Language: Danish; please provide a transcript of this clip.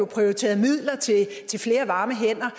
prioriteret midler til til flere varme hænder